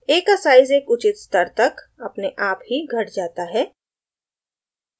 a का size एक उचित स्तर तक अपने आप ही the जाता है